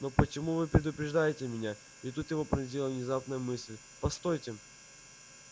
но почему вы предупреждаете меня и тут его пронзила внезапная мысль постойте